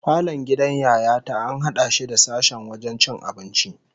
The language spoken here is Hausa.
Falon gidan Yaya ta an hada shi da sashen wajen cin abinci